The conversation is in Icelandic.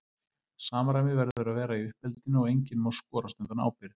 Samræmi verður að vera í uppeldinu og enginn má skorast undan ábyrgð.